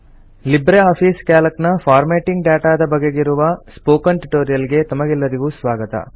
Libre Office Calc ನ formatting ಡಾಟಾದ ಬಗೆಗಿರುವ ಸ್ಪೋಕನ್ ಟ್ಯುಟೋರಿಯಲ್ ಗೆ ತಮಗೆಲ್ಲರಿಗೂ ಸ್ವಾಗತ